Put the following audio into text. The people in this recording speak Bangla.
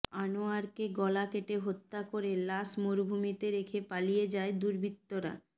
আনোয়ারকে গলা কেটে হত্যা করে লাশ মরুভুমিতে রেখে পালিয়ে যায় দুর্বৃত্তরা